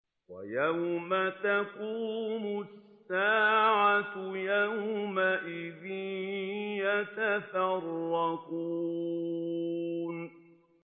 وَيَوْمَ تَقُومُ السَّاعَةُ يَوْمَئِذٍ يَتَفَرَّقُونَ